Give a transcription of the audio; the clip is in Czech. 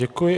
Děkuji.